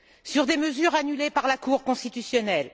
Sur des mesures annulées par la Cour constitutionnelle.